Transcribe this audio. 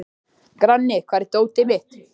Grani, hvar er dótið mitt?